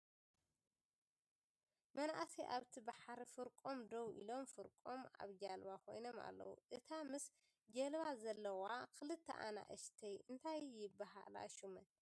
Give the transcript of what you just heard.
መናእሰይ ኣብቲ ባሕሪ ፍርቆም ደው ኢሎም ፍርቆም ኣብጀልባ ኮይኖም ኣለዉ። እታ ምሰ ጀልባ ዘለዋ ክልተ ኣናእሽተይ እንታይ ይበሃላ ሽመን ?